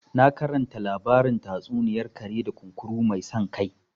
Na karanta labarin tatsuniyar kare da kunkuru mai san kai